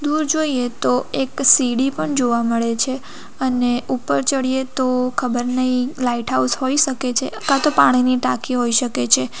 દૂર જોઈએ તો એક સીડી પણ જોવા મળે છે અને ઉપર ચડીએ તો ખબર નહીં લાઈટ હાઉસ હોઈ શકે છે અથવા તો પાણીની ટાંકી હોઈ શકે છે.